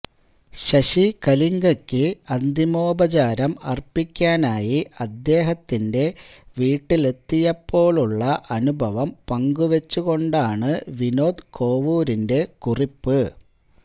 ശശി കലിംഗയ്ക്ക് അന്തിമോപചാരം അര്പ്പിക്കാനായി അദ്ദേഹത്തിന്റെ വീട്ടിലെത്തിയപ്പോഴുള്ള അനുഭവം പങ്കുവെച്ചുകൊണ്ടാണ് വിനോദ് കോവൂരിന്റെ കുറിപ്പ്